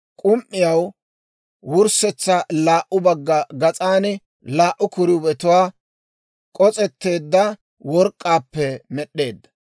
K'um"iyaw wurssetsa laa"u bagga gas'an laa"u kiruubeelatuwaa k'os'etteedda work'k'aappe med'd'eedda.